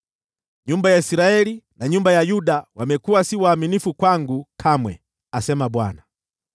Nyumba ya Israeli na nyumba ya Yuda wamekuwa si waaminifu kwangu kamwe,” asema Bwana .